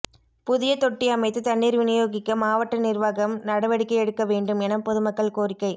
புதிய தொட்டி அமைத்து தண்ணீா் விநியோகிக்க மாவட்ட நிா்வாகம் நடவடிக்கை எடுக்க வேண்டும் என பொதுமக்கள் கோரிக்கை